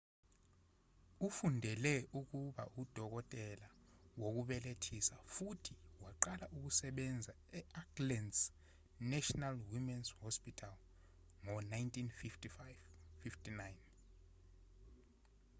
ufundele ukuba udokotela wokubelethisa futhi waqala ukusebenza e-auckland's national womens's hospital ngo-1959